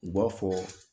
U b'a fɔ